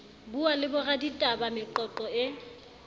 buwa le boraditaba meqoqo e